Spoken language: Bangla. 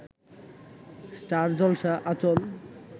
স্টার জলসা আঁচল